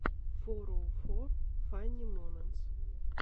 фороуфор фанни моментс